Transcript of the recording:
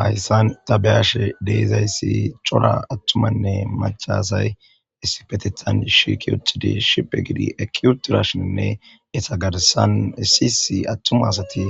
Hayssan ta beyashe deezayssi cora attumanne machasay essipetethan shiki uthidi shiphe gidi eki utirashininne esagarsan esiysi attuma asati